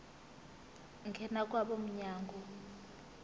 ngena kwabo mnyango